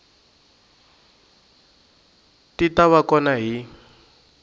ti ta va kona hi